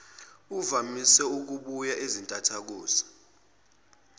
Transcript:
uvamise ukubuya izintathakusa